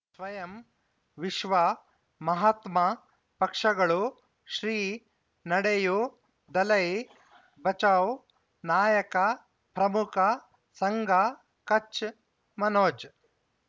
ಸ್ವಯಂ ವಿಶ್ವ ಮಹಾತ್ಮ ಪಕ್ಷಗಳು ಶ್ರೀ ನಡೆಯೂ ದಲೈ ಬಚೌ ನಾಯಕ ಪ್ರಮುಖ ಸಂಘ ಕಚ್ ಮನೋಜ್